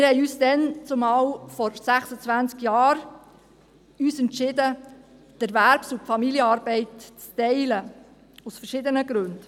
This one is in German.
Wir entschieden damals, vor 26 Jahren, uns die Erwerbs- und Familienarbeit zu teilen, aus verschiedenen Gründen.